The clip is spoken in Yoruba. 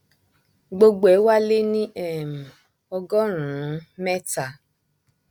gbogbo ẹ wá lé ní um ọgọrùnún mẹta